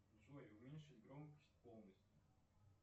джой уменьшить громкость полностью